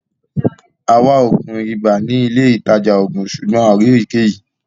À wà oogun ìbà ni ilẹ̀ itajà oogun, ṣùgbọn a kò rí ëyíkẹyí.